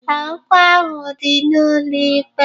Ee, okwu ahụ dị n'ụlọ ikpe